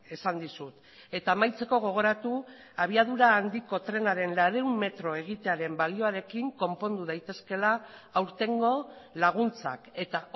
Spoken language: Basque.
esan dizut eta amaitzeko gogoratu abiadura handiko trenaren laurehun metro egitearen balioarekin konpondu daitezkeela aurtengo laguntzak eta